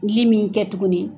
min kɛ tuguni.